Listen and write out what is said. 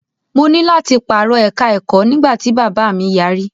Mo ní láti pàrọ̀ ẹ̀ka-ẹ̀kọ́ nígbà tí bàbáà mi yarí.